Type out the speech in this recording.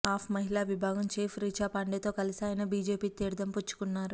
ఆప్ మహిళా విభాగం చీఫ్ రిచాపాండేతో కలిసి ఆయన బీజేపీ తీర్థం పుచ్చుకున్నారు